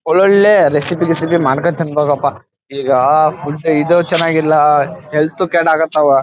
ಒಳ್ ಒಳ್ಳೆ ರೆಸಿಪಿ ಗಿಸಿಪಿ ಮಾಡ್ಕೊ ತಿನ್ನಭೋದ್ ಅಪ್ಪ ಈಗ ಸುಮ್ನೆ ಇದು ಚೆನ್ನಾಗ ಇಲ್ಲ ಹೆಲ್ತ್ ಉ ಕೇಡಾಕತ್ತಾವ.